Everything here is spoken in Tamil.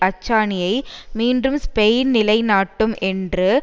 அச்சாணியை மீண்டும் ஸ்பெயின் நிலைநாட்டும் என்று